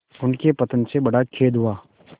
उनके पतन से बड़ा खेद हुआ